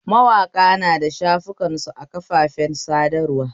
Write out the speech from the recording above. Mawaƙa nada shafukansu a kafafen sadarwa